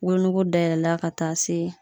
Wolonogo dayɛlɛla ka taa se